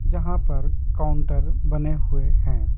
जहां पर काउंटर बने हुए हैं।